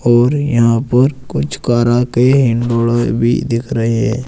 और यहां पर कुछ कारा के भी दिख रहे--